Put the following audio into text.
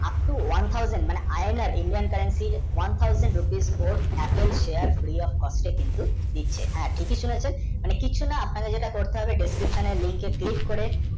one Tarzan মানে indian kanctreone Tarzan ropes ও apple shear কিন্তু দিচ্ছে হ্যাঁ ঠিকি সুনেছেন মানে কিছু না ওখানে যে টা করতে হবে description এর link কে click করে